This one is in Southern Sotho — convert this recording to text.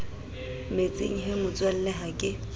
metsing he motswalle ha ke